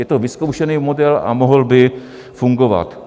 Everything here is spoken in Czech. Je to vyzkoušený model a mohl by fungovat.